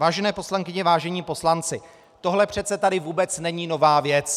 Vážené poslankyně, vážení poslanci, tohle přece tady vůbec není nová věc.